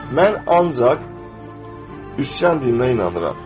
Mən ancaq üsyan dininə inanıram.